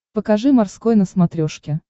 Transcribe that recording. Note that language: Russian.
покажи морской на смотрешке